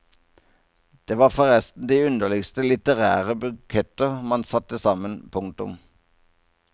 Det var forresten de underligste litterære buketter man satte sammen. punktum